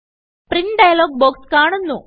print dialog box കാണുന്നു